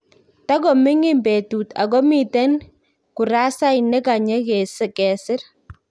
Takoming'in betut ako miten kurasait nekanye kesir